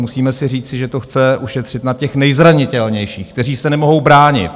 Musíme si říci, že to chce ušetřit na těch nejzranitelnějších, kteří se nemohou bránit.